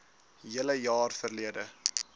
hele jaar verlede